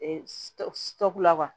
tɔku la